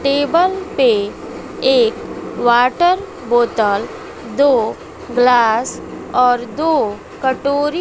table पे एक water बोतल दो ग्लास और दो कटोरी--